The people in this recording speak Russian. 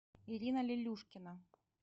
ирина лелюшкина